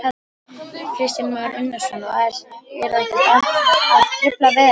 Kristján Már Unnarsson: Og eru ekkert að trufla veiðarnar?